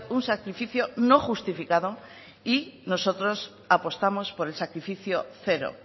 un sacrificio no justificado y nosotros apostamos por el sacrificio cero